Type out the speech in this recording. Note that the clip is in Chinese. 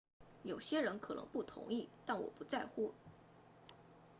有些人可能不同意但我不在乎